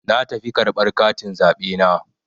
Na tafi karɓar katin zaɓe na.